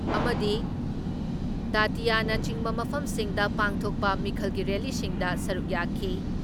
ꯑꯃꯗꯤ ꯗꯥꯇꯤꯌꯥꯅꯆꯤꯡꯕ ꯃꯐꯝꯁꯤꯡꯗ ꯄꯥꯡꯊꯣꯛꯄ ꯃꯤꯈꯜꯒꯤ ꯔꯦꯜꯂꯤꯁꯤꯡꯗ ꯁꯔꯨꯛ ꯌꯥꯈꯤ ꯫